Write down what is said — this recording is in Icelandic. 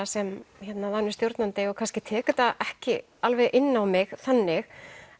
sem vanur stjórnandi og kannski tek þetta ekki alveg inn á mig þannig